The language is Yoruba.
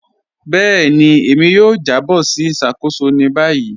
Bẹẹni, èmi yóò jàbọ̀ sí ìṣakóṣò ní báyì.